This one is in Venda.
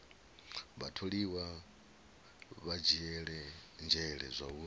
vhatholiwa vha dzhiele nzhele zwauri